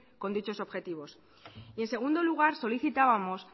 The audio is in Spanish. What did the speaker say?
con dichos objetivos y en segundo lugar solicitábamos